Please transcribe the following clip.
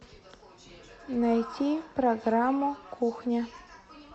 найти программу кухня